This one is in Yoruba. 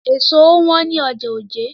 Èso ò wọ́n ní ọjà Ojé.